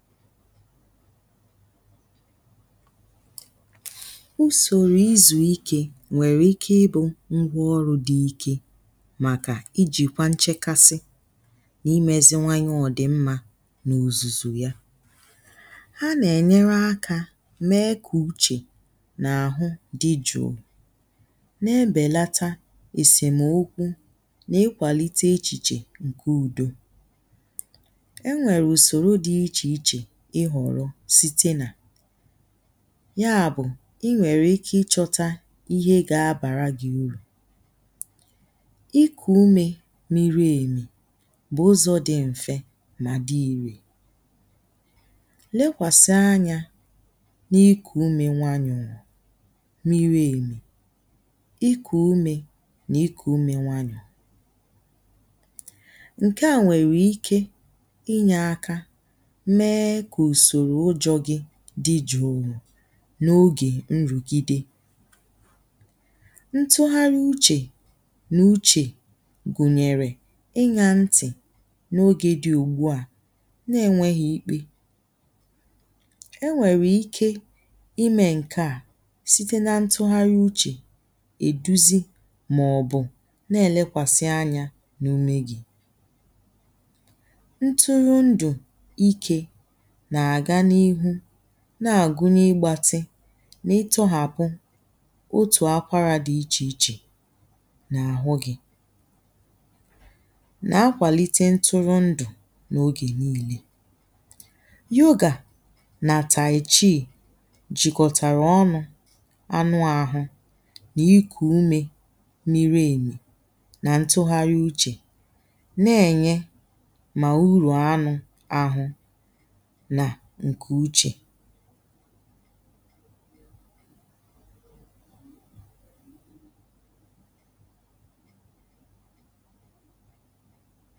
usòrò izù ikė nwèrè ike ibụ̇ ngwa ọrụ̇ dị ike màkà ijìkwa nchekasị na imezi nwayọ ọ̀dìmmȧ n’òzùzò ya ha n’ènyere akȧ mee kà uchè nà àhụ di jụụ na-embèlata èsèmokwu nà ikwàlite echìchè nke ùdo enwere usòrò di icheiche ìhọ̀rọ̀ site nà ya bù i nwèrè ike ichọtȧ ihe ga abàra gi urù ikù umė miri èmì bù ụzọ̇ di m̀fe mà di iri̇ lekwàsì anyȧ n’ikù umė nwaanyu̇ n’iru èmì ikù umė nà ikù umė nwaanyù ǹkèa nwèrè ike inyė aka mee ka usòrò ujo dì jùù n’ogè nrùgìdè ntụghari uchè nà uchè gùnyèrè ịnyȧ ntì n’ogè dị ùgbùa nà-enwėghi̇ ikpe e nwèrè ike imė ǹkèa site nà ntụgharị uchè è duzi màọ̀bụ̀ na-èlekwàsị̀ anya n’ume gị̀ nturu ndu ike na ga n'ihu na-àgunye igbȧtɪ n’itọhàpụ̀ otù akwarȧ di̇ ichè ichè n’àhụ gi na-akwàlite ntụrụ ndụ̀ n’ogè niilė yogà nà tàìchii jìkọ̀tàrà ọnụ̇ anụ àhụ nà ikù umė miri emi nà ntụgharị uchè na-ènye mà urù anụ̀ ahụ na ǹkè uchè